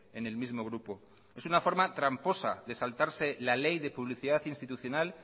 en el mismo grupo es una forma tramposa de saltarse la ley de publicidad institucional